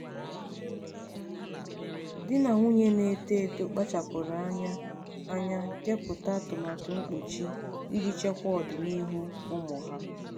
di na nwunye na-eto eto kpachapụrụ anya anya kepụta atụmatụ mkpuchi iji chekwaa ọdịniihu ụmụ ha.